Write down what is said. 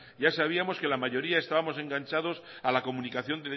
ya sabíamos que la mayoría estábamos engancha dos a la comunicación